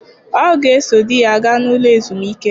Ọ ga-eso di ya gaa n'ụlọ ezumike.